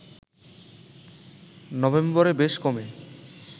নভেম্বরে বেশ কমে